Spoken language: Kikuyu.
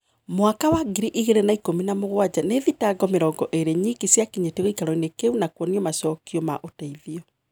Mwaka wa ngiri igĩrĩ na ikũmi na mũgwanja nii thitango mĩrongo ĩrĩ nyiki ciakinyetio giikaroini kiu na kuona macokio ma uteithio.